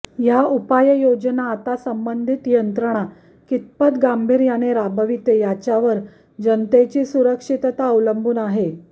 या उपाययोजना आता संबंधित यंत्रणा कितपत गांभीर्याने राबविते यावरच जनतेची सुरक्षितता अवलंबून आहे